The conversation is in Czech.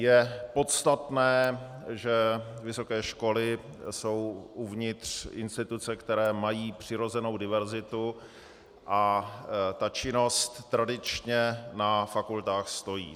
Je podstatné, že vysoké školy jsou uvnitř instituce, které mají přirozenou diverzitu, a ta činnost tradičně na fakultách stojí.